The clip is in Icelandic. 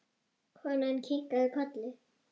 Konan kinkaði kolli.